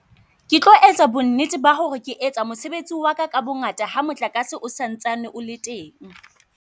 Ke tlo etsa bonnete ba ho re ke etsa mosebetsi waka ka bongata ha motlakase o santsane o le teng.